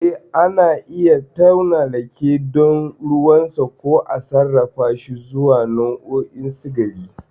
Eh, ana iya tauna rake don ruwansa, ko a sarrafashi zuwa nau'o'i sikari.